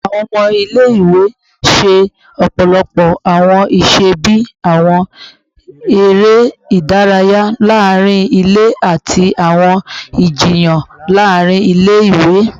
Awọn ọmọ ile-iwe ṣe ọpọlọpọ awọn iṣẹ bii awọn ere idaraya laarin ile ati awọn ijiyan laarin ile-iwe